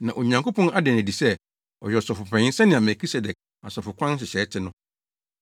na Onyankopɔn ada no adi sɛ ɔyɛ Ɔsɔfopanyin sɛnea Melkisedek asɔfokwan nhyehyɛe te no.